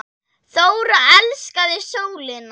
Þóra elskaði sólina.